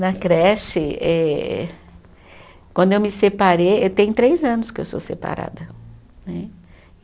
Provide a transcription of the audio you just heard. Na creche eh, quando eu me separei, tem três anos que eu sou separada né.